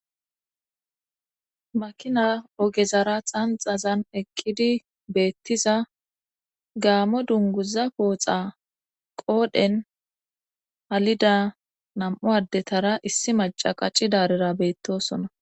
Makina ogezara xanxazan eqqidi beettiza gaamo dunguza kooxa qoodhen halida nam7u addetara issi maca qacci daarera beettosona